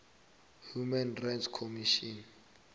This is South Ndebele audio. human rights commission